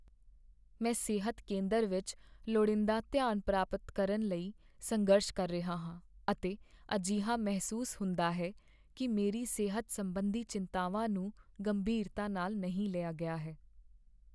ਮੈਂ ਸਿਹਤ ਕੇਂਦਰ ਵਿੱਚ ਲੋੜੀਂਦਾ ਧਿਆਨ ਪ੍ਰਾਪਤ ਕਰਨ ਲਈ ਸੰਘਰਸ਼ ਕਰ ਰਿਹਾ ਹਾਂ, ਅਤੇ ਅਜਿਹਾ ਮਹਿਸੂਸ ਹੁੰਦਾ ਹੈ ਕੀ ਮੇਰੀ ਸਿਹਤ ਸੰਬੰਧੀ ਚਿੰਤਾਵਾਂ ਨੂੰ ਗੰਭੀਰਤਾ ਨਾਲ ਨਹੀਂ ਲਿਆ ਗਿਆ ਹੈ।